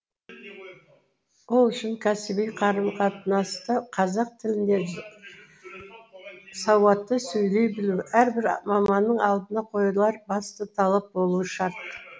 ол үшін кәсіби қарым қатынаста қазақ тілінде сауатты сөйлей білу әрбір маманның алдына қойылар басты талап болуы шарт